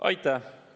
Aitäh!